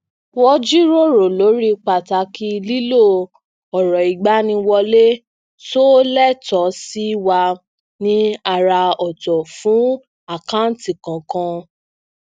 wọn jíròrò lori pàtàkì lílo ọrọigbaniwọle tó le tó sì wa ni àrà ọtọ fún àkanti kọọkan